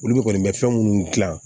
Olu de kɔni bɛ fɛn minnu dilan